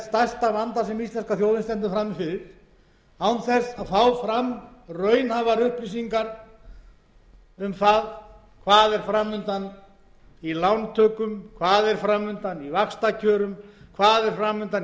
frammi fyrir án þess að fá fram raunhæfar upplýsingar um hvað fram undan er í lántökum hvað er fram undan í vaxtakjörum hvað er fram undan